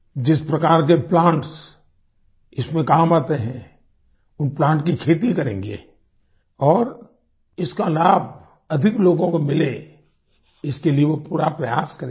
जिस प्रकार के प्लांट्स इसमें काम आते हैं उन प्लांट की खेती करेंगे और इसका लाभ अधिक लोगों को मिले इसके लिए वो पूरा प्रयास करेंगे